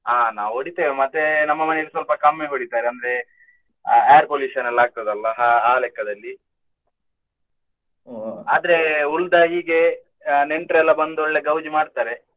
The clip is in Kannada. ಅಹ್ ನಾವು ಹೊಡಿತೇವೆ ಮತ್ತೆ ನಮ್ಮ ಮನೆಯಲ್ಲಿ ಸ್ವಲ್ಪ ಕಮ್ಮಿ ಹೊಡಿತಾರೆ ಅಂದ್ರೆ air pollution ಎಲ್ಲಾ ಆಗ್ತದಲ್ಲ ಆ ಲೆಕ್ಕದಲ್ಲಿ. ಆದ್ರೆ ಉಳ್ದ ಹೀಗೆ ನೆಂಟ್ರೆಲ್ಲ ಬಂದು ಒಳ್ಳೆ ಗೌಜಿ ಮಾಡ್ತಾರೆ.